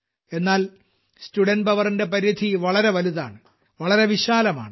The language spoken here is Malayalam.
എന്നാൽ സ്റ്റുഡെന്റ് powerന്റെ പരിധി വളരെ വലുതാണ് വളരെ വിശാലമാണ്